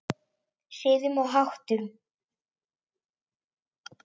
Siðum og háttum.